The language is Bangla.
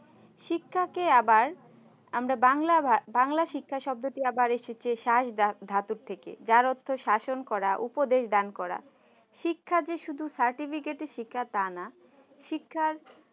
শিক্ষা কে আবার আমরা বাংলা শিক্ষা শব্দটি আবার এসেছে শাঁস ঘাতক থেকে যার অর্থ শাসন করা উপদেশ দান করা শিক্ষা যে শুধু certificate এর শিক্ষা তা নয়